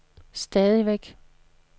stadigvæk